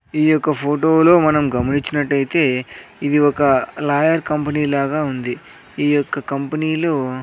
ఈ యొక్క ఫోటో లో మనం గమనించినట్టైతే ఇది ఒక లాయర్ కంపెనీ లాగా ఉంది ఈ యొక్క కంపెనీలు --